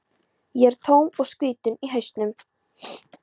Ég er tóm og skrýtin í hausnum.